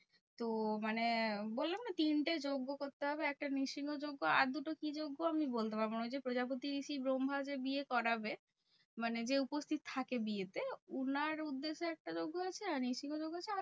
তো মানে বললাম না তিনটে যজ্ঞ করতে হবে? একটা নৃসিংহ যজ্ঞ আর দুটো কি যজ্ঞ? আমি বলতে পারবো না। ওই যে প্রজাপতি ঋষি ব্রাহ্মা যে বিয়ে করাবে? মানে যে উপস্থিত থাকে বিয়েতে উনার উদ্দেশ্যে একটা যজ্ঞ আছে। আর নৃসিংহ যজ্ঞ হচ্ছে